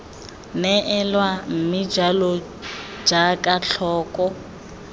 neelwa mme jalo jaaka tlhoko